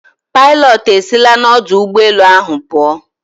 Pilot esila n'ọdụ ụgbọelu ahụ pụọ.